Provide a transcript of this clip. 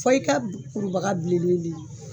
Fo i ka kurubaga bilenne de